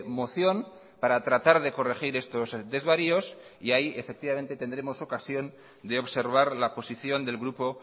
moción para tratar de corregir estos desvaríos y ahí tendremos ocasión de observar la posición del grupo